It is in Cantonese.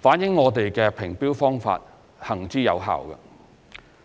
反映我們的評標方法行之有效。